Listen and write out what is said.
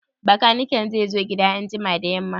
Bakaniken zai zo gida anjima da yamma?